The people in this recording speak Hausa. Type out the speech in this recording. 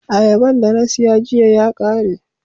Auaban da na siya giya ya kare.